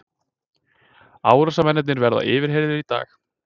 Árásarmennirnir verða yfirheyrðir í dag